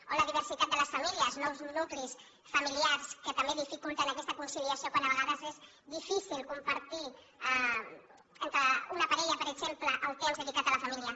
o la diversitat de les famílies nous nuclis familiars que també dificulten aquesta conciliació quan a vegades és difícil compartir entre una parella per exemple el temps dedicat a la família